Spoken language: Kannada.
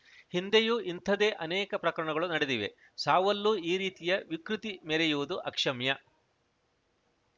ಹಿಂದೆಯೂ ಇಂಥದ್ದೇ ಅನೇಕ ಪ್ರಕರಣಗಳು ನಡೆದಿವೆ ಸಾವಲ್ಲೂ ಈ ರೀತಿಯ ವಿಕೃತಿ ಮೆರೆಯುವುದು ಅಕ್ಷಮ್ಯ